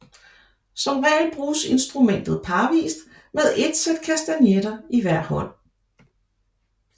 Som regel bruges instrumentet parvist med et sæt kastagnetter i hver hånd